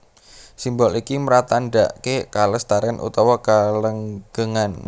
Simbol iki mratandhaké kalestarèn utawa kalanggengan